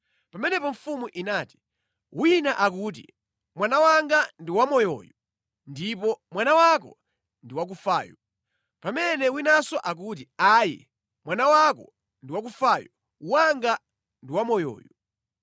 Pamenepo mfumu inati, “Wina akuti, ‘Mwana wanga ndi wamoyoyu ndipo mwana wako ndi wakufayu,’ pamene winanso akuti, ‘Ayi! Mwana wako ndi wakufayu wanga ndi wamoyoyu.’ ”